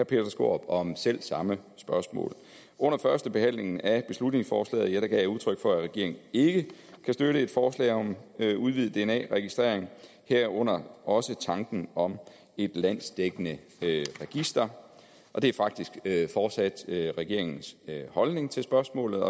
peter skaarup om selv samme spørgsmål under førstebehandlingen af beslutningsforslaget gav jeg udtryk for at regeringen ikke kan støtte et forslag om at udvide dna registrering herunder også tanken om et landsdækkende register og det er faktisk fortsat regeringens holdning til spørgsmålet